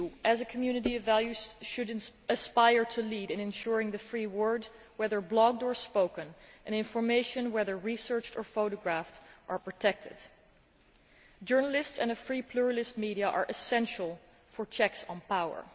The EU as a community of values should aspire to lead in ensuring that the free word, whether blogged or spoken, and information, whether research or photographs, are protected. Journalists and free pluralist media are essential for checks on power